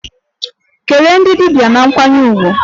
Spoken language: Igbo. Kelee ndị dibia na nkwanye ùgwù!